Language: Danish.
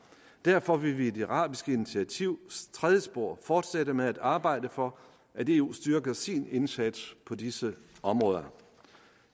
derfor vil vi i det arabiske initiativs tredje spor fortsætte med at arbejde for at eu styrker sin indsats på disse områder